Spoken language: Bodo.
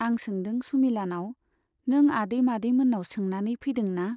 आं सोंदों सुमिलानाव, नों आदै मादै मोन्नाव सोंनानै फैदोंना ?